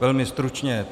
Velmi stručně.